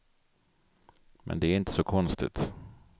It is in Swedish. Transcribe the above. Men det är inte så konstigt.